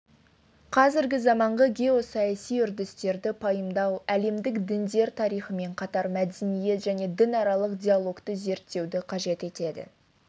қазіргі заманғы геосаяси үрдістерді пайымдау әлемдік діндер тарихымен қатар мәдениет және дінаралық диалогты зерттеуді қажет етеді